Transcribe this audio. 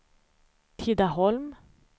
Tidaholm